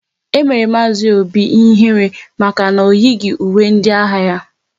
E mere Mazi Obi ihe ihere maka na o yighi uwe ndị agha ya